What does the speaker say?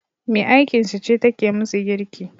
Me aikinsu ce take musu girki